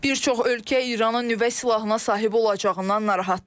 Bir çox ölkə İranın nüvə silahına sahib olacağından narahatdır.